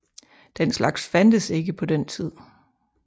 Den slags fandtes ikke på den tid